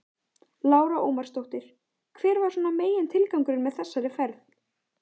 Lára Ómarsdóttir: Hver var svona megintilgangurinn með þessari ferð?